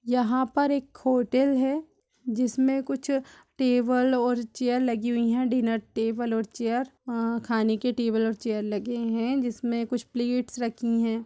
यहाँ पर एक होटल है जिसमें कुछ टेबल और चेयर लगी हुई हैं डीनर टेबल और चेयर | वहाँ खाने के टेबल और चेयर लगे हैं जिसमें कुछ प्लेट्स रखी हैं।